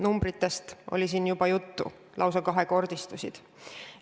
Numbritest oli siin juba juttu, need lausa kahekordistusid.